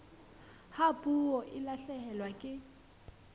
ha puo e lahlehelwa ke